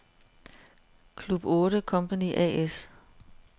Club 8 Company A/S